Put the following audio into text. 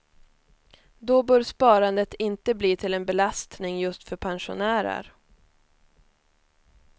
Då bör sparandet inte bli till en belastning just för pensionärer.